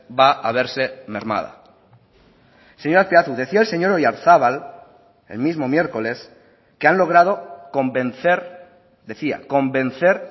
va a verse mermada señor azpiazu decía el señor oyarzabal el mismo miércoles que han logrado convencer decía convencer